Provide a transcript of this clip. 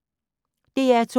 DR2